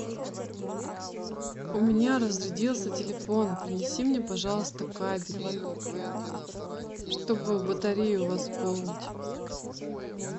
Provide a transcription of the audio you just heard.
у меня разрядился телефон принеси мне пожалуйста кабель чтобы батарею восполнить